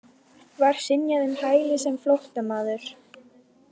Var synjað um hæli sem flóttamaður